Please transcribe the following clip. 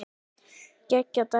Geggjað dæmi.